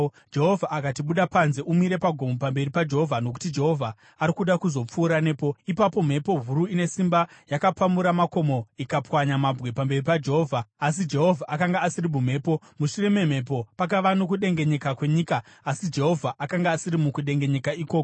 Jehovha akati, “Buda panze umire pagomo pamberi paJehovha, nokuti Jehovha ari kuda kuzopfuura nepo.” Ipapo mhepo huru ine simba yakapamura makomo ikapwanya mabwe pamberi paJehovha, asi Jehovha akanga asiri mumhepo. Mushure memhepo, pakava nokudengenyeka kwenyika, asi Jehovha akanga asiri mukudengenyeka ikoko.